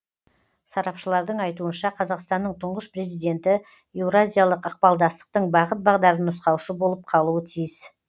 сарапшылардың айтуынша қазақстанның тұңғыш президенті еуразиялық ықпалдастықтың бағыт бағдарын нұсқаушы болып қалуы тиіс